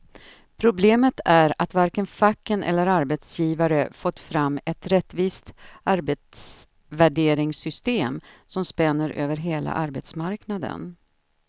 Problemet är att varken facken eller arbetsgivare fått fram ett rättvist arbetsvärderingssystem som spänner över hela arbetsmarknaden.